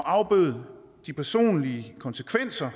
afbøde de personlige konsekvenser